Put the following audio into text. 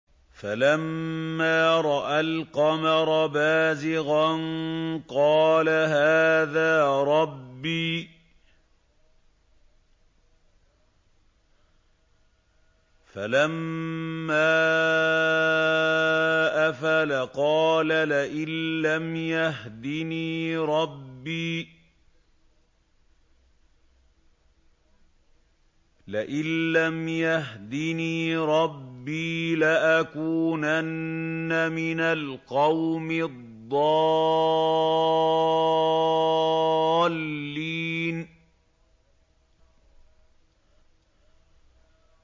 فَلَمَّا رَأَى الْقَمَرَ بَازِغًا قَالَ هَٰذَا رَبِّي ۖ فَلَمَّا أَفَلَ قَالَ لَئِن لَّمْ يَهْدِنِي رَبِّي لَأَكُونَنَّ مِنَ الْقَوْمِ الضَّالِّينَ